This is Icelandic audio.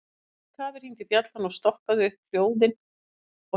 Í miðju kafi hringdi bjallan og stokkaði upp hljóð og hreyfingar.